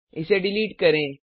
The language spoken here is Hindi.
इसे डिलीट करें